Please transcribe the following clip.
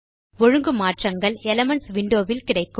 ஒழுங்கு மாற்றங்கள் elements window வில் கிடைக்கும்